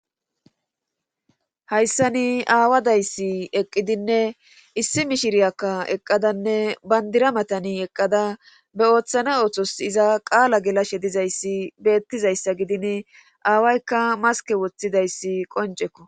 hayssani aawa dayssi eqqidinne issi mishiriyakka eqqadanne bandira matani eqqada be ooththane oothos iza qaala gelashe dizayssi beettizayssa gidin aawaykka maske woththidayssi qoncekko